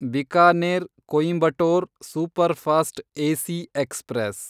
Bikaner Coimbatore superfast AC express